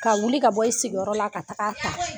Ka wuli ka bɔ i sigiyɔrɔ la ka taga a ta